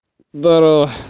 здорово